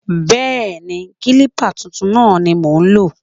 Bẹẹni, kilipa tuntun náà ni mo ń lò.